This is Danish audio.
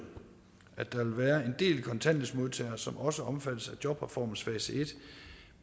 at der vil være en del kontanthjælpsmodtagere som også omfattes af jobreformens fase et